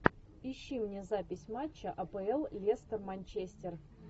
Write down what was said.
ищи мне запись матча апл лестер манчестер